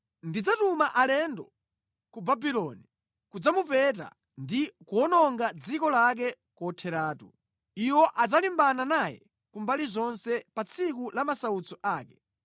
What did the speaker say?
Ndidzatuma alendo ku Babuloni kudzamupeta ndi kuwononga dziko lake kotheratu. Iwo adzalimbana naye ku mbali zonse pa tsiku la masautso ake.